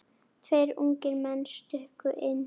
Tveir ungir menn stukku inn.